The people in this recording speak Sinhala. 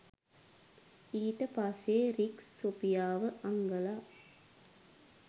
ඊටපස්සේ රික් සොෆියාව හංගලා